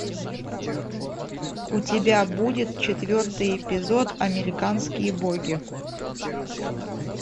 у тебя будет четвертый эпизод американские боги